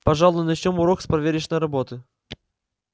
пожалуй начнём урок с проверочной работы